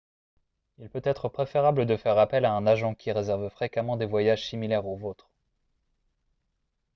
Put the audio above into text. il peut être préférable de faire appel à un agent qui réserve fréquemment des voyages similaires au vôtre